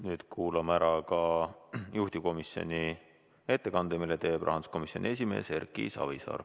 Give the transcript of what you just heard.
Nüüd kuulame ära ka juhtivkomisjoni ettekande, mille teeb rahanduskomisjoni esimees Erki Savisaar.